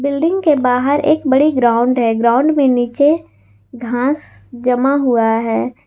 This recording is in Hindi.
बिल्डिंग के बाहर एक बड़ी ग्राउंड है ग्राउंड में नीचे घास जमा हुआ है।